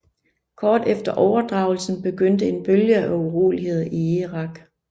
Kort efter overdragelsen begyndte en bølge af uroligheder i Irak